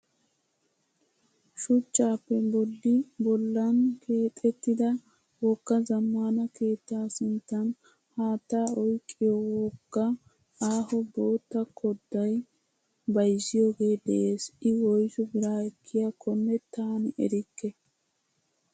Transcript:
Shuchchaape bolli bollan keexettida wogga zammaana keettaa sinttan haattaa oyiqqiyoo woggaa aaho bootta koddayi bayizziyoogee des. I woyisu bira ekkiyaakkonne taani erikke.